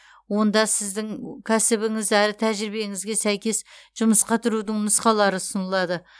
онда сіздің кәсібіңіз әрі тәжірибеңізге сәйкес жұмысқа тұрудың нұсқалары ұсынылады